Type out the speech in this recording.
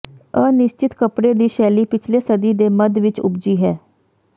ਅਨਿਸ਼ਚਿਤ ਕੱਪੜੇ ਦੀ ਸ਼ੈਲੀ ਪਿਛਲੇ ਸਦੀ ਦੇ ਮੱਧ ਵਿਚ ਉਪਜੀ ਹੈ